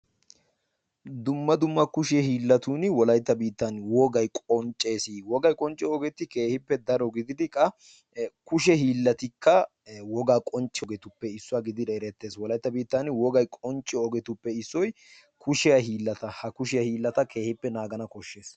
dumma dumma kushe hiilatun wolaytta biitan wogay qonccees. wogay qoncciyo ogetti kehippe daro gididi qa kushe hiillattikka ee wogaa qonccissiyageetuppe issuwa gididi eretees wolaytta biittan wogay qoncciyo ogetupe issoy kushiya hiilata . ha kushiya hiilata keehippe naagana besees.